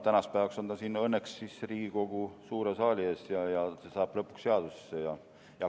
Tänaseks päevaks on ta õnneks Riigikogu suure saali ees ja see saab lõpuks seadusesse.